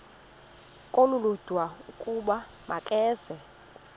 olulodwa ukuba makeze